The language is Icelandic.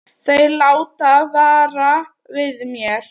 Þeir láta vara við mér.